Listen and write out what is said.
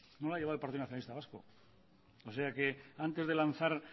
no la ha llevado el partido nacionalista vasco o sea que antes de lanzar